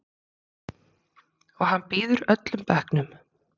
Og hann býður öllum bekknum.